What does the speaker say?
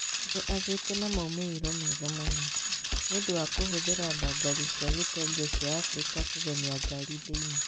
Nĩ agĩte na moimĩrĩro mega mũno. Nĩ ũndũ wa kũhũthĩra ndangari cia gĩtenge cia Afrika kũgemia ngari thĩinĩ.